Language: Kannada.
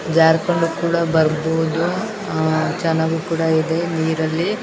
ಜಾರಿಕೊಂಡು ಕೂಡ ಬರ್ಬಹುದು ಆಹ್ಹ್ ಚೆನ್ನಾಗೂ ಕೂಡ ಇದೆ ನೀರಲ್ಲಿ --